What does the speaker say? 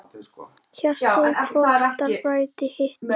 Hjarta hvorugs bræðir hitt.